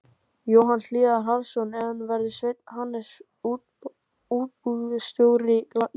Jóhann Hlíðar Harðarson: En verður Sveinn Hannesson útibússtjóri Íslandsbanka?